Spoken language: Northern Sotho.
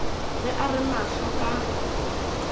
ge a re mahlo ka